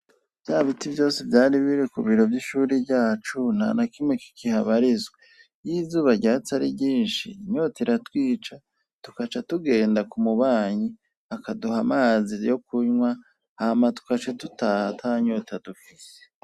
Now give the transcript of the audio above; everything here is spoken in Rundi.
bya biti byose byari bire kubiro by'ishuri byacu ntanakimwe kikihabarizwa iyo izuba ryatsi ari ryinshi inyota ira twica tukaca tugenda ku mubanyi akaduha amazi yo kunywa dukaca dutaha atanyota dufite